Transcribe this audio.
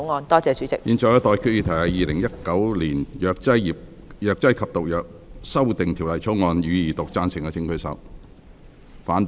我現在向各位提出的待決議題是：《2019年藥劑業及毒藥條例草案》，予以二讀。